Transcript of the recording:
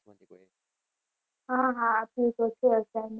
હા હા આપ્યું છે assignment